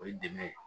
O ye dɛmɛ ye